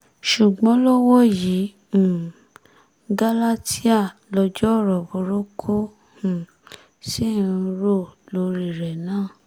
ṣùgbọ́n lọ́wọ́ yìí um gálátíà lọjọ́ ọ̀rọ̀ burúkú um ṣì ń rò lórí rẹ̀ ná